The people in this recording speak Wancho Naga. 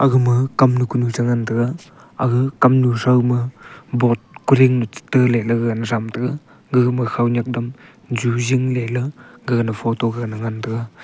aga ma Kam nu kunu chengan tega aga kamnu chao ma bot kori yan le tai ley ga gane aga ma ju jing ley gaga na photo ngan tega.